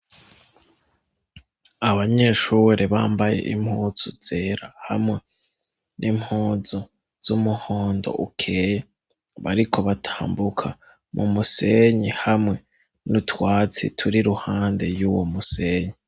Abanyeshure bambaye impuzu zera hamwe n'impuzu z'umuhondo ukeye, bariko batambuka mu musenyi hamwe nutwatsi turi ruhande y'uwo musenyi.